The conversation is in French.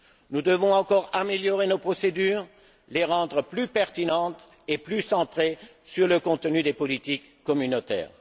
Nous devons encore améliorer nos procédures, les rendre plus pertinentes et plus centrées sur le contenu des politiques communautaires.